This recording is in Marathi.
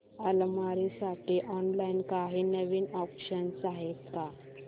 अलमारी साठी ऑनलाइन काही नवीन ऑप्शन्स आहेत का